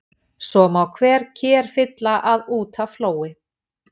Svo má hver ker fylla að út af flói.